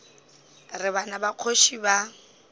re bana ba kgoši ba